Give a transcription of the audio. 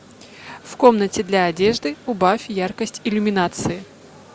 в комнате для одежды убавь яркость иллюминации